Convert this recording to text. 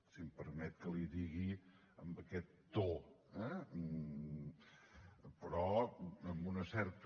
si em permet que li ho digui amb aquest to eh però amb una certa